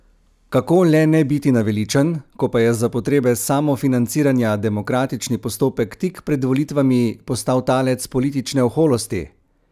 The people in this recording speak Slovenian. Kako le ne biti naveličan, ko pa je za potrebe samofinanciranja demokratični postopek tik pred volitvami postal talec politične oholosti?